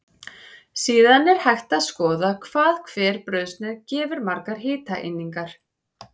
Síðan er hægt að skoða hvað hver brauðsneið gefur margar hitaeiningar.